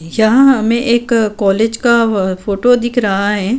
यहाँ हमें एक कॉलेज का अ ब फोटो दिख रहा हैं।